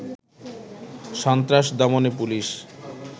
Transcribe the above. সন্ত্রাস দমনে পুলিশ